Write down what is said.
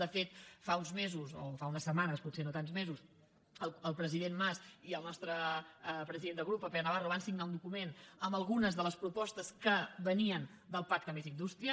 de fet fa uns mesos o fa unes setmanes potser no tants mesos el president mas i el nostre president de grup en pere navarro van signar un document amb algunes de les propostes que venien del pacte més indústria